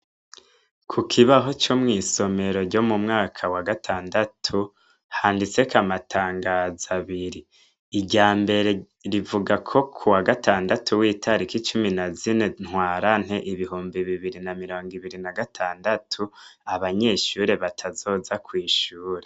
Ku kibaho co mw'isomero ryo mu mwaka wa gatandatu, handiseko amatangazo abiri : irya mbere rivuga ko kuwa gatandatu w'itariki cumi na zine Ntwarante ibihumbi bibiri na mirongo ibiri na gatandatu abanyeshure batazoza kw'ishure.